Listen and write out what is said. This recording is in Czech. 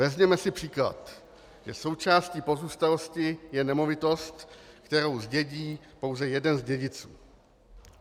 Vezměme si příklad, že součástí pozůstalosti je nemovitost, kterou zdědí pouze jeden z dědiců.